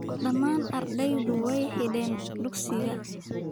Dhammaan ardaydu way xidheen dugsiga